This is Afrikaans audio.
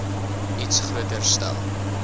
iets groter stel